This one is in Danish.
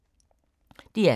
DR K